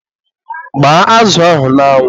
gbaa azụ ahụ n'anwu.